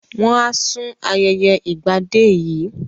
Wọ́n á sùn ayẹyẹ Ìgbadé yìí